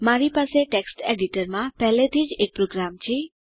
મારી પાસે ટેક્સ્ટ એડીટરમાં પહેલાથી જ એક પ્રોગ્રામ છે